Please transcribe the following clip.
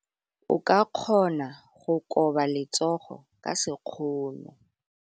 O ka kgona go koba letsogo ka sekgono.